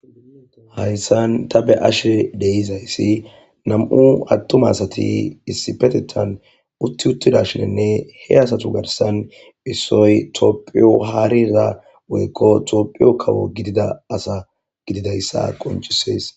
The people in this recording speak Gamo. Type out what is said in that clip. hayssan ta be'ashe de'izayssi nam7u attuma asati issipetetan utti uttida shinne he asatu garsan issoy toophiyo haarira woykko toophiyo kawo gidida asa gididayssa qoncisees